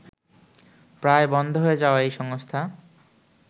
প্রায় বন্ধ হয়ে যাওয়া এই সংস্থা